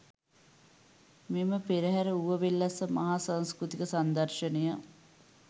මෙම පෙරහර ඌවවෙල්ලස්සේ මහා සංස්කෘතික සංදර්ශනය